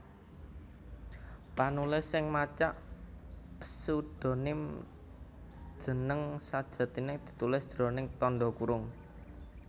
Panulis sing macak pséudonim jeneng sajatiné ditulis jroning tandha kurung